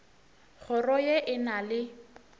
kgoro ye e na le